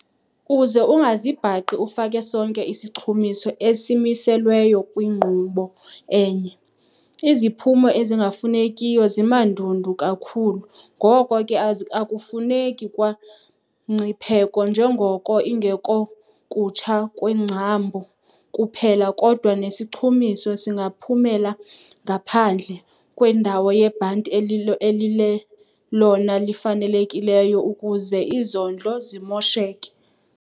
Uze ungazibhaqi ufake sonke isichumiso esimiselweyo kwinkqubo enye. Iziphumo ezingafunekiyo zimandundu kakhulu ngoko ke akufuneki kwamngcipheko njengoko ingekokutsha kweengcambu kuphela kodwa nesichumiso singaphumela ngaphandle kwendawo yebhanti elilelona lifanelekileyo ukuze izondlo zimosheke.